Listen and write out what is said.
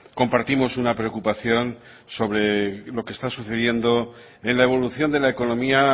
compartimos una preocupación sobre lo que está sucediendo en la evolución de la economía